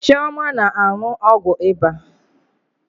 Chioma na-aṅụ ọgwụ ịba.